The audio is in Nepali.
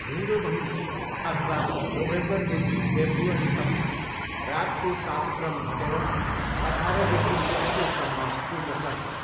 हिउँदो महिना, अथवा नोभेम्बरदेखि फेब्रुअरीसम्म, रातको तापक्रम घटेर अठार डिग्री सेल्सियससम्म पुग्न सक्छ।